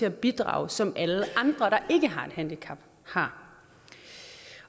at bidrage som alle andre der ikke har et handicap har